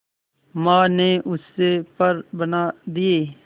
मां ने उससे पर बना दिए